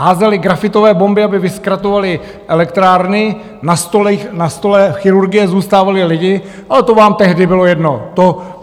Házeli grafitové bomby, aby vyzkratovali elektrárny, na stolech chirurgie zůstávali lidi, ale to vám tehdy bylo jedno.